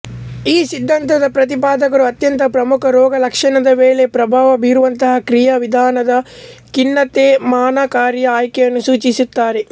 ಈ ಸಿದ್ಧಾಂತದ ಪ್ರತಿಪಾದಕರು ಅತ್ಯಂತ ಪ್ರಮುಖ ರೋಗ ಲಕ್ಷಣದ ಮೇಲೆ ಪ್ರಭಾವ ಬೀರುವಂತಹ ಕ್ರಿಯಾ ವಿಧಾನದ ಖಿನ್ನತೆಶಮನಕಾರಿಯ ಆಯ್ಕೆಯನ್ನು ಸೂಚಿಸುತ್ತಾರೆ